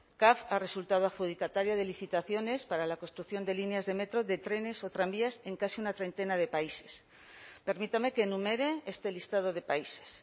caf ha resultado adjudicataria de licitaciones para la construcción de líneas de metro de trenes o tranvías en casi una treintena de países permítame que enumere este listado de países